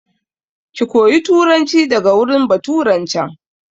Ki koya turanci daga wurin baturan can!